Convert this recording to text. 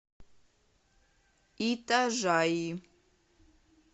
итажаи